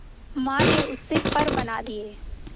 मां ने उससे पर बना दिए